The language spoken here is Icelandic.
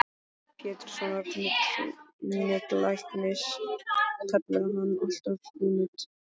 Péturssonar nuddlæknis kallaði hann alltaf Frú Nudd.